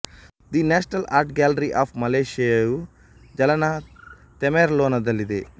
the national art gallery of ಮಲೆಷ್ಯಾಯು ಜಲಾನ ತೆಮೆರ್ಲೊನಲ್ಲಿದೆ